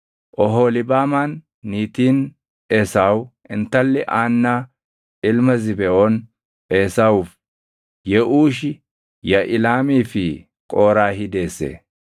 Oholiibaamaan niitiin Esaawu intalli Aannaa ilma Zibeʼoon Esaawuuf: Yeʼuushi, Yaʼilaamii fi Qooraahi deesse.